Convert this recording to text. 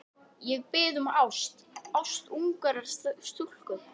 Ég bið um ást, ást ungrar stúlku.